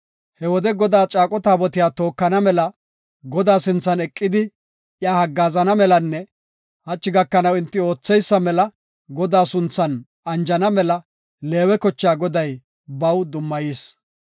He wode Godaa caaqo Taabotiya tookana mela, Godaa sinthan eqidi iya haggaazana melanne hachi gakanaw enti ootheysa mela Godaa sunthan anjana mela Leewe kochaa Goday baw dummayis.